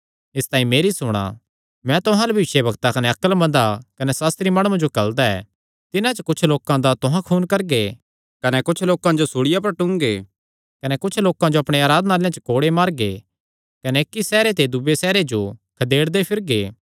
इसतांई मेरी सुणा मैं तुहां अल्ल भविष्यवक्तां कने अक्लमंदा कने सास्त्री माणुआं जो घल्लदा ऐ तिन्हां च कुच्छना दा तुहां खून करगे कने कुच्छना जो सूल़िया पर टूंगगे कने कुच्छना जो अपणे आराधनालयां च कोड़े मारगे कने इक्की सैहरे ते दूये सैहरे जो खदेड़दे फिरगे